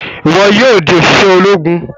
Ìwo yóò dì oṣiṣẹ Ológùn!